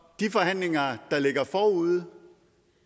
de forhandlinger der ligger forude